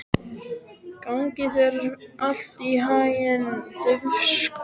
Gangi þér allt í haginn, Dufgus.